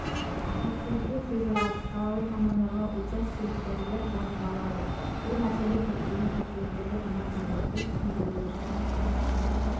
пациенттің сөзі рас салалық мамандарға учаскелік дәрігер жазып алады бұл мәселе көптеген пациенттерге ұнамайды біз түсіндіруге